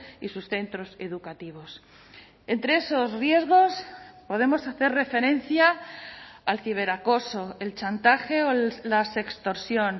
y sus centros educativos entre esos riesgos podemos hacer referencia al ciberacoso el chantaje o la sextorsión